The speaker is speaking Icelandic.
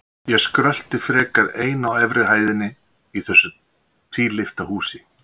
Ég skrölti frekar ein á efri hæðinni í þessu tvílyfta húsi.